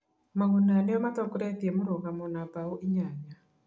Maguna nĩo matongoretie mĩrũgamo na mbaũ inyanya.